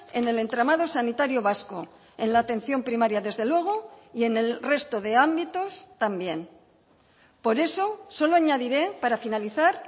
en el entramado sanitario vasco en la atención primaria desde luego y en el resto de ámbitos también por eso solo añadiré para finalizar